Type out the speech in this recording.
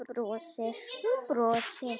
Hún brosir.